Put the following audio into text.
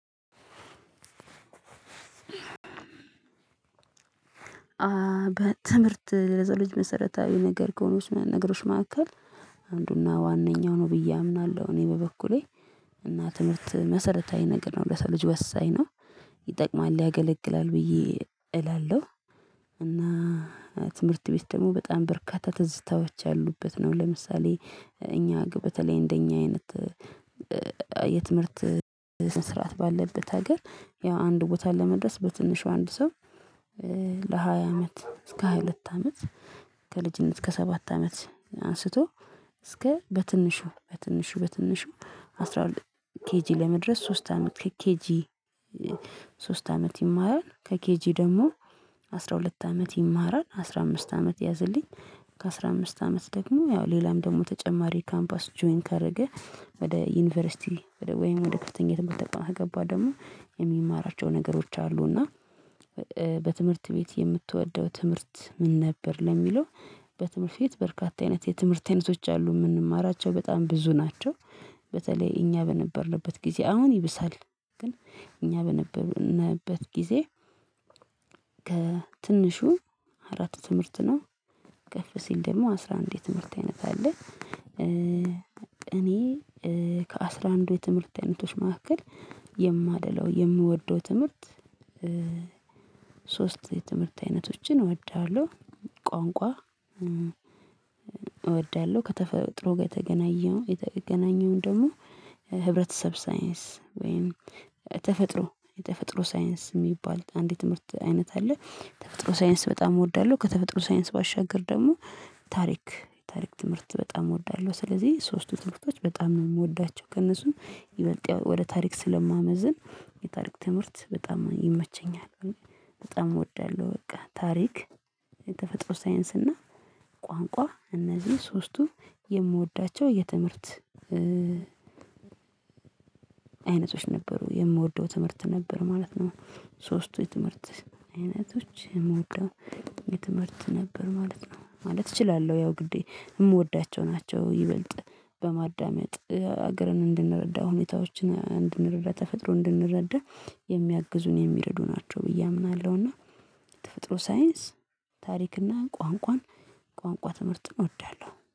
በትምህርት ለሰው ልጅ መሰረታዊ ነገር ከሆኑት ነገሮች መካከል አንዱና ዋናው ነው። ብዬ አምናለሁ እኔ በበኩሌ እና ትምህርት መሰረታዊ ነገር ነው ለሰው ልጅ ወሳኝ ነው ይጠቅማል ያገለግላል ብዬ እላለሁ። እና ትምህርት ቤት ደግሞ በጣም በርካታ ትዝታዎች ያሉበት ነው። ለምሳሌ እኛ በተለይ እንደኛ አይነት የትምህርት ስንት ስርዓት ባለበት ሀገር ያው አንድ ቦታ ለመድረስ በትንሽ በአንድ ሰው ለሃያ አመት እስከ ሃያ ሁለት አመት ከልጅነት እስከ ሰባት አመት አንስቶ እስከ በትንሹ በትንሹ በትንሹ አስራ ሁለት ኬጂ ለመድረስ ሶስት አመት ከኬጂ ሶስት አመት የማራል ከኬጂ ደግሞ አስራ ሁለት አመት ይማራል አስራ አምስት አመት ያዘልኝ ከአስራ አምስት አመት ደግሞ ያው ሌላም ደግሞ ተጨማሪ ካምፓስ ጆይን ካደረገ ወደ ዩኒቨርሲቲ ወደ ወይም ወደ ክፍተኛ የትምርት ቶቃም ከገባ ደግሞ የሚማራቸው ነገሮች አሉ። እና በትምህርት ቤት የምትወደው ትምህርት ምን ነበር? ለሚለው በትምህርት ቤት በርካታ አይነት የትምህርት አይነቶች አሉ የምንማራቸው በጣም ብዙ ናቸው። በተለይ እኛ በነበርንበት ጊዜ አሁን ይብሳል ግን እኛ በነበርንበት ጊዜ ከትንሹ አራት ትምህርት ነው ከፍ ሲል ደግሞ አስራ አንድ ትምህርት አይነት አለ። እኔ ከአሥራ አንድዱ የትምህርት አይነቶች መካከል የማደላው የምወደው ትምህርት ሶስት ትምህርት አይነቶችን እወዳለሁ። ቋንቋ እወዳለሁ ከተፈጥሮ ጋር የተገናኘውን የተገናኘውን ደግሞ ህብረተሰብ ሳይንስ ወይም ተፈጥሮ የተፈጥሮ ሳይንስ የሚባል አንድ ትምህርት አይነት አለ። ተፈጥሮ ሳይንስ በጣም እወዳለሁ። ከተፈጥሮ ሳይንስ ባሻገር ደግሞ ታሪክ ታሪክ ትምህርት በጣም እወዳለሁ። ስለዚህ ሶስቱ ትምህርቶች በጣም ነው የምወዳቸው ከእነሱም ይበልጥ ወደ ታሪክ ስለማመዝን የታሪክ ትምህርት በጣም ይመቸኛል። በጣም እወዳለሁ በቃ ታሪክ የተፈጥሮ ሳይንስ እና ቋንቋ እነዚህ ሶስቱ የምወዳቸው የትምህርት አይነቶች ነበሩ የምወደው ትምህርት ነበር ማለት ነው። ሶስቱ የትምህርት አይነቶች የምወደው የትምህርት ነበር ማለት ነው። ማለት እችላለሁ ያው ግዴ የምወዳቸው ናቸው ይበልጥ በማዳመጥ ሀገርን እንድንረዳ ሁኔታዎችን እንድንረዳ ተፈጥሮ እንድንረዳ የሚያግዙን የሚርዱ ናቸው ብዬ አምናለሁ። እና ተፈጥሮ ሳይንስ ታሪክ እና ቋንቋን ቋንቋ ትምህርትን እወዳለሁ